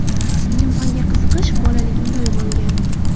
Ilm-fanga qiziqish bolaligimda uyg‘ongan.